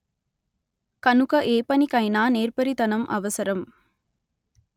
కనుక ఏపనికైనా నేర్పరితనం అవసరం